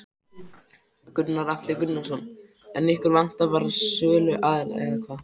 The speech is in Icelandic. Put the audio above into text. Gunnar Atli Gunnarsson: En ykkur vantar bara söluaðila eða hvað?